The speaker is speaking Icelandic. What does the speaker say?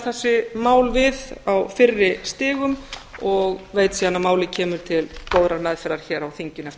þessi mál við á fyrri stigum og veit síðan að málið kemur til góðrar meðferðar hér á þinginu eftir